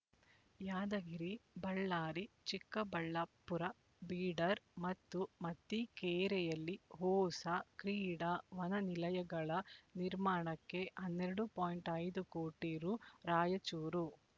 ಯಾದಗಿರಿಬಳ್ಳಾರಿ ಚಿಕ್ಕಬಳಾಪ್ಪುರ ಬೀಡರ್ ಮತ್ತು ಮತಿಕೇರೆಯಲ್ಲಿ ಹೋಸ ಕ್ರೀಡಾ ವನ ನಿಲಯಗಳ ನಿರ್ಮಾಣಕ್ಕೆ ಹನ್ನೆರಡು ಪಾಯಿಂಟ್ ಐದು ಕೋಟಿ ರೂ ರಾಯಚೂರು